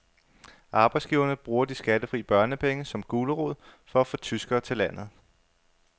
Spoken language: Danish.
Arbejdsgiverne bruger de skattefri børnepenge som gulerod for at få tyskere til landet.